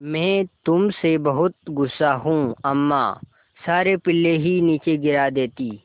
मैं तुम से बहुत गु़स्सा हूँ अम्मा सारे पिल्ले ही नीचे गिरा देतीं